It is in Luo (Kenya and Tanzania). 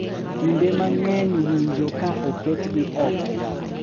Kinde mang’eny winjo ka oketgi oko,